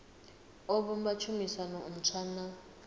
o vhumba tshumisano ntswa na